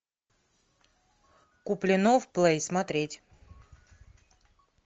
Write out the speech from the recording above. куплинов плей смотреть